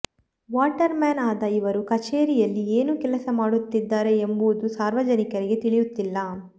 water man ಆದ ಇವರು ಕಚೇರಿಯಲ್ಲಿ ಏನು ಕೆಲಸ ಮಾಡುತಿದ್ದಾರೆ ಎಂಬುವುದು ಸಾರ್ವಜನಿಕರಿಗೆ ತಿಳಿಯುತಿಲ್ಲ